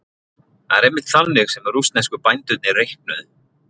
Það er einmitt þannig sem rússnesku bændurnir reiknuðu.